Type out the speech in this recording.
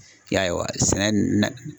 I ya ye wa sɛnɛ na